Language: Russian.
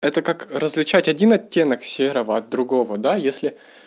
это как различать один оттенок серого другого да если